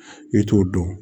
I t'o dɔn